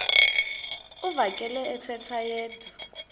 uvakele ethetha yedwa